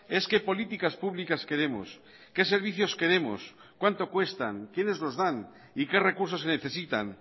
es qué políticas públicas queremos qué servicios queremos cuánto cuestan quiénes los dan y qué recursos se necesitan